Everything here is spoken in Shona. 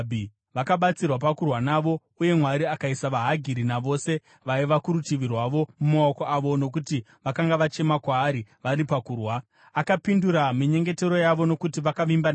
Vakabatsirwa pakurwa navo, uye Mwari akaisa vaHagiri, navose vaiva kurutivi rwavo, mumaoko avo, nokuti vakanga vachema kwaari vari pakurwa. Akapindura minyengetero yavo nokuti vakavimba naye.